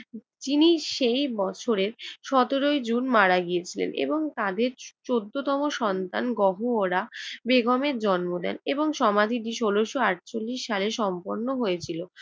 যিনি সেই বছরের সতেরোই জুন মারা গিয়েছিলেন এবং তাদের চৌদ্দতম সন্তান গহুওরা বেগমের জন্ম দেন এবং সমাধিটি ষোলশ আটচল্লিশ সালে সম্পন্ন হয়েছিল।